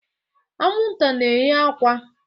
Anwụnta na-eye akwa.